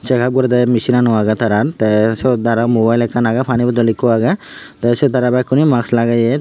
segap gorede mesin nano agey taran tey seyot aro mobile agey pani bodol ekkho agey tey seyot aro bakkunay mask lageya.